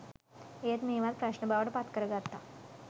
ඒත් මේවත් ප්‍රශ්න බවට පත්කරගත්ත